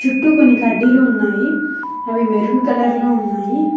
చుట్టూ కొన్ని కడ్డీలు ఉన్నాయి అవి మెరూన్ కలర్ లో ఉన్నాయి.